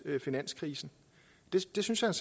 finanskrisen det synes jeg